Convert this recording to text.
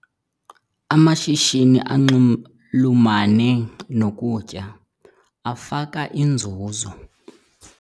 Amashishini anxulumene nokutya afaka inzuzo.